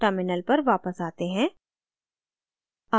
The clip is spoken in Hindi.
terminal पर वापस आते हैं